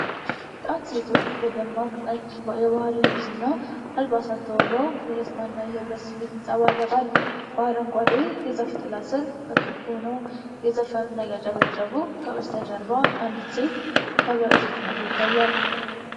ጣት ሴቶች በደማቅ ነጭ የባህል ልብስና አልባሳት ተውበው የደስታ እና የኅብረት ስሜት ይንጸባረቃል። በአረንጓዴ የዛፍ ጥላ ስር፣ በክብ ሆነው እየዘፈኑና እያጨበጨቡ፣ ከበስተጀርባ አንዲት ሴት ከበሮ ስትመታ ይታያል።